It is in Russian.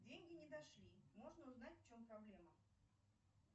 деньги не дошли можно узнать в чем проблема